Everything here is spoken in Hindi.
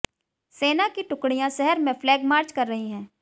सेना की टुकड़ियां शहर में फ्लैग मार्च कर रही हैं